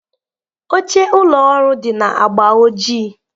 Oche ụlọ ọrụ dị na agba ojii.